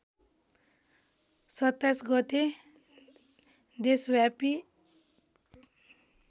२७ गते देशव्यापी